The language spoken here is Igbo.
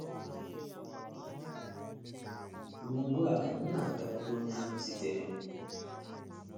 Ma ugbu a m na - agakwuru onye ahụ zitere m...